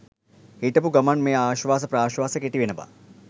හිටපු ගමන් මේ ආශ්වාස ප්‍රශ්වාස කෙටි වෙනවා.